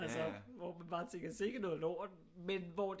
Altså hvor man bare tænker sikke noget lort men hvor